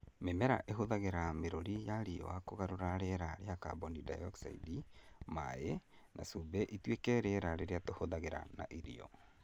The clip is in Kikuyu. Mĩmera ĩhũthagĩra mĩrũri ya riũa kũgarũra rĩera rĩa kaboni dayokicaidi, maaĩ, na cumbĩ ituĩke rĩera rĩrĩa tũhuhagia na irio.